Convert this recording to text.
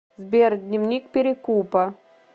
сбер дневник перекупа